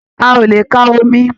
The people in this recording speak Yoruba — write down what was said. A o le kà omí.